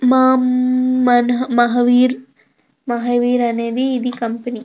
Ma'am మనః మహావీర్ మహావీర్ అనేది ఇది కంపెనీ .